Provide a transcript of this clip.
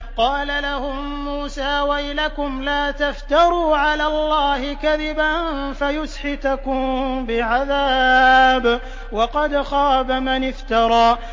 قَالَ لَهُم مُّوسَىٰ وَيْلَكُمْ لَا تَفْتَرُوا عَلَى اللَّهِ كَذِبًا فَيُسْحِتَكُم بِعَذَابٍ ۖ وَقَدْ خَابَ مَنِ افْتَرَىٰ